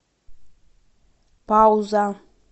пауза